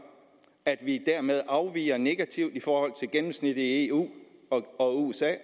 at vi derved afviger negativt i forhold til gennemsnittet i eu og usa